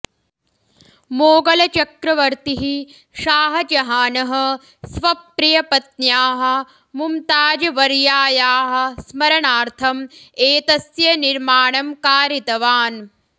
मोगलचक्रवर्तिः शाहजहानः स्वप्रियपत्न्याः मुमताज़वर्यायाः स्मरणार्थं एतस्य निर्माणं कारितवान्